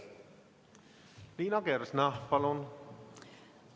Liina Kersna, palun!